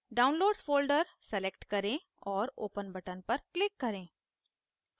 downloads folder select करें और open button पर click करें